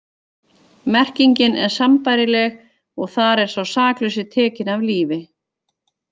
Merkingin er sambærileg og þar er sá saklausi tekinn af lífi.